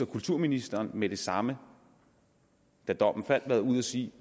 kulturministeren med det samme da dommen faldt var ude at sige